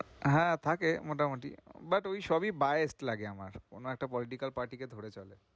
হ্যাঁ, থাকে মোটামুটি but ওই সবই লাগে আমার, কোনো একটা political party কে ধরে চলে।